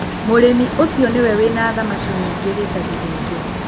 Mũrĩmi ũcio nĩwe wĩna thamaki nyingĩ gĩcagi gĩkĩ.